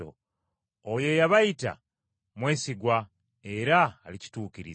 Oyo eyabayita mwesigwa era alikituukiriza.